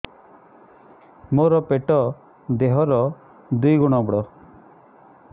ମୋର ପେଟ ଦେହ ର ଦୁଇ ଗୁଣ ବଡ